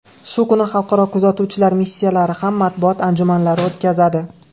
Shu kuni xalqaro kuzatuvchilar missiyalari ham matbuot anjumanlari o‘tkazadi.